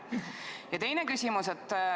Ja teine küsimus.